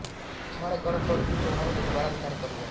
छाणगढ़ पर भी चौहानों ने दुबारा अधिकार कर लिया